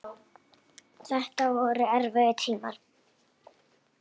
Þetta voru erfiðir tímar.